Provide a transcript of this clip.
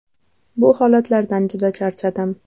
Bu holatlardan juda charchadim.